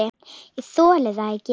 Ég þoli það ekki